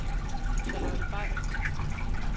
Charlotte Bay